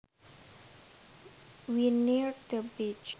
We neared the beach